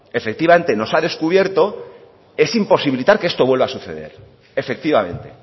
efectivamente nos ha descubierto es imposibilitar que esto vuelva a suceder efectivamente